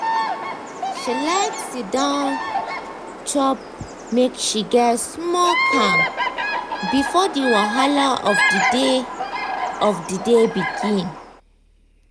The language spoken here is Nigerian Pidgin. she like siddon chop make she get small calm before the wahala of the day of the day begin.